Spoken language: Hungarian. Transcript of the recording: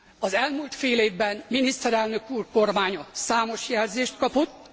Az elmúlt fél évben miniszterelnök úr kormánya számos jelzést kapott.